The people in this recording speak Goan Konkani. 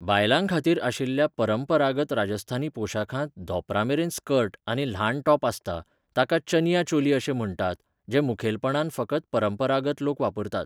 बायलांखातीर आशिल्ल्या परंपरागत राजस्थानी पोशाखांत धोंपरामेरेन स्कर्ट आनी ल्हान टॉप आसता, ताका चनिया चोली अशें म्हण्टात, जे मुखेलपणान फकत परंपरागत लोक वापरतात.